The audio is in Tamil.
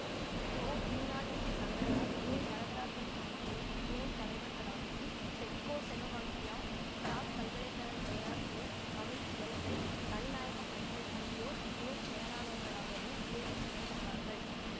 பொ மீனாடசிசந்தரனார் மு வரதராசன் ஆகியோர் துணை தலைவர்களாகவும் செக்கோசெவவாக்கியா பிராக் பல்கலை கழக பேராசிரியர் கமில் சுவெலபில் தனிநாயகம் அடிகள் ஆகியோர் இணை செயலாளராளர்களாகவும் தேர்வு செய்ய பட்டார்கள்